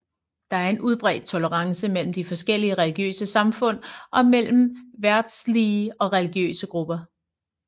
Der er en udbredt tolerance mellem de forskellige religiøse samfund og mellem verdslige og religiøse grupper